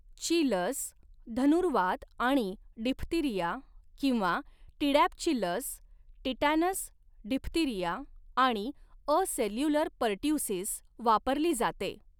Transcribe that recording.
ची लस धनुर्वात आणि डिप्थीरिया किंवा टीडॅपची लस टिटॅनस, डिप्थीरिया आणि असेल्युलर पर्ट्युसिस वापरली जाते.